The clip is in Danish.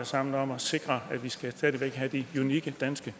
sammen om at sikre at vi stadig væk skal have de unikke danske